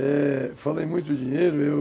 É... Falei muito dinheiro, eu...